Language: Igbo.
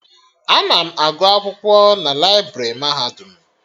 Ana m agụ akwụkwọ na laibrị mahadum